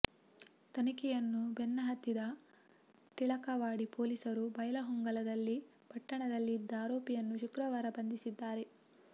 ತನಿಖೆಯನ್ನು ಬೆನ್ನ ಹತ್ತಿದ ಟಿಳಕವಾಡಿ ಪೊಲೀಸರು ಬೈಲಹೊಂಗಲದಲ್ಲಿ ಪಟ್ಟಣದಲ್ಲಿ ಇದ್ದ ಆರೋಪಿಯನ್ನು ಶುಕ್ರವಾರ ಬಂಧಿಸಿದ್ದಾರೆ